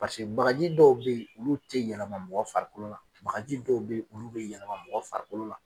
Paseke magaji dɔw be yen olu tɛ yɛlɛma mɔgɔ farikolo la, bagaji dɔw be yen olu bi yɛlɛma mɔgɔ farikolo la.